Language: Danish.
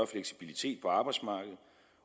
fleksibilitet på arbejdsmarkedet